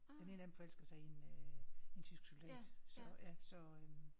Den ene af dem forelsker sig i en øh en tysk soldat så ja så